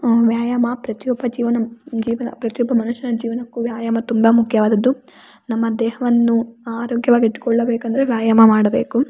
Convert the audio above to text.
ಆ ವ್ಯಾಯಾಮ ಪ್ರತಿಯೊಬ್ಬ ಜೀವನ ಜಿವನ ಪ್ರತಿಯೊಬ್ಬ ಮನುಷ್ಯನ ಜೀವನಕ್ಕು ವ್ಯಾಯಾಮ ತುಂಬಾ ಮುಖ್ಯವಾದದು. ನಮ್ಮ ದೇಹವನ್ನು ಆರೋಗ್ಯವಾಗಿ ಇಟ್ಟ್ಕೊಳ್ಳ ಬೇಕಂದ್ರೆ ವ್ಯಾಯಾಮ ಮಾಡಬೇಕು.